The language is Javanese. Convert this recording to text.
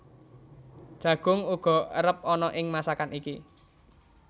Jagung uga erep ana ing masakan iki